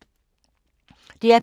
DR P2